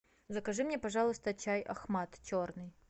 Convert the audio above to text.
закажи мне пожалуйста чай ахмад черный